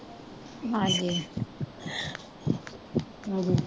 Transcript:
ਹਾਂਜੀ